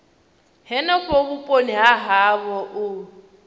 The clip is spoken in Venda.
henefho vhuponi ha havho u